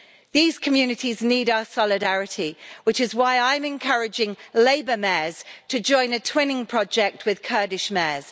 These communities need our solidarity, which is why I'm encouraging Labour mayors to join a twinning project with Kurdish mayors.